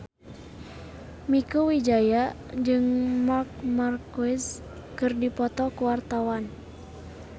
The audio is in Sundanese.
Mieke Wijaya jeung Marc Marquez keur dipoto ku wartawan